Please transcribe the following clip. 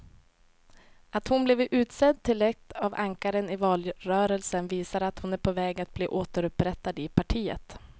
Att hon blivit utsedd till ett av ankaren i valrörelsen visar att hon är på väg att bli återupprättad i partiet.